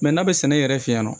n'a bɛ sɛnɛ yɛrɛ fɛ yen nɔ